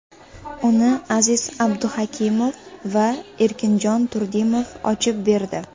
Uni Aziz Abduhakimov va Erkinjon Turdimov ochib berdi .